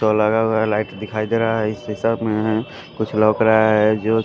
तो लगा हुआ है लाइट दिखाई दे रहा है इसी सब में कुछ लौक रहा हैं जो--